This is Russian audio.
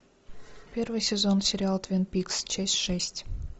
первый сезон сериал твин пикс часть шесть